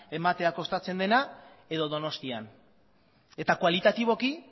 ematea kostatzen dena edo donostian eta kualitatiboki